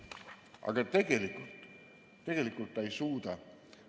Aga tegelikult ta ei suuda.